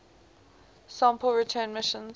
sample return missions